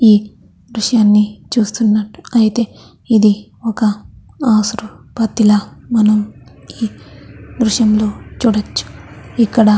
ఈ దృశ్యాన్ని చూస్తున్నట్టు అయితే ఇది ఒక హాస్పటల్ మనము ఈ దృశ్యంలో చూడొచ్చు. ఈ --